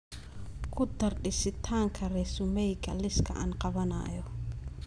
ku dar dhisitaanka resumeyga liiska aan qabanayo